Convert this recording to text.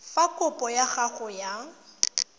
fa kopo ya gago ya